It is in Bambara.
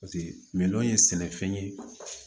Paseke mɛ sɛnɛfɛn ye